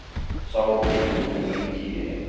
Sá óhugur bjó lengi í henni.